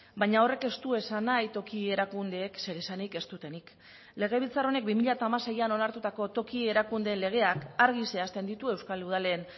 baina horrek ez du esan nahi toki erakundeek zer esanik ez dutenik legebiltzar honek bi mila hamaseian onartutako toki erakundeen legeak argi zehazten ditu euskal udalen